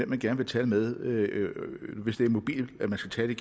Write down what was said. man gerne vil tale med når man skal tale i